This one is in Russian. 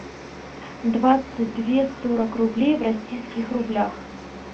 двадцать две сорок рублей в российских рублях